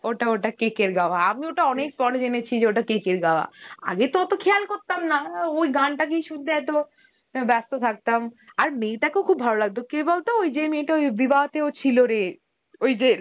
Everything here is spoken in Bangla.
ওটা ওটা KK র গাওয়া, আমি ওইটা অনেক পরে জেনেছি যে ওটা KK র গাওয়া, আগেতো অত খেয়াল করতামনা, আঁ ওই গানতাকেই শুনতে এতো ব্যা~ ব্যাস্থ থাকতাম, আর মেয়তাকেও খুব ভালো লাগত, কে বলতো, ওই যে মেয়টা ওই Hindi তেও ছিলোরে, ওইযে